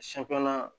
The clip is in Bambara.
Siɲɛ filanan